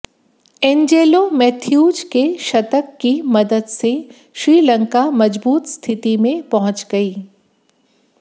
Angelo Mathews के शतक की मदद से श्रीलंका मजबूत स्थिति में पहुंच गई